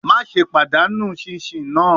Maṣe padanu chinchin naa